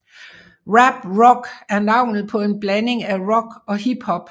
Rap Rock er navnet på en blanding af rock og hip hop